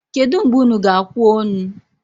Kedu mgbe unu g'akwa onu?